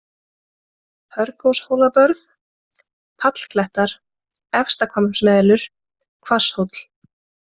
Hörgshólabörð, Pallklettar, Efstahvammsmelur, Hvasshóll